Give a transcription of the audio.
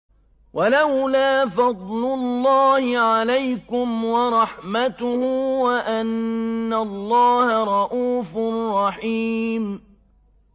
وَلَوْلَا فَضْلُ اللَّهِ عَلَيْكُمْ وَرَحْمَتُهُ وَأَنَّ اللَّهَ رَءُوفٌ رَّحِيمٌ